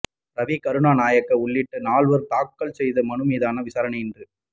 ரவி கருணாநாயக்க உள்ளிட்ட நால்வர் தாக்கல் செய்த மனு மீதான விசாரணை இன்று